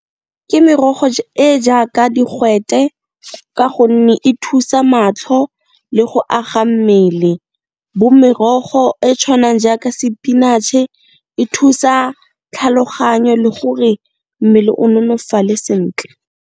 Ke merogo e jaaka digwete ka gonne e thusa matlho le go aga mmele bo merogo e tshwanang jaaka sepinatšhe e thusa tlhaloganyo le gore mmele o nolofale sentle.